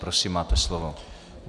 Prosím, máte slovo.